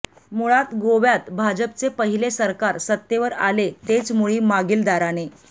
मुळात गोव्यात भाजपचे पहिले सरकार सत्तेवर आले तेच मुळी मागील दाराने